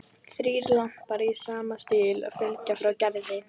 Þrír lampar í sama stíl fylgja frá Gerði.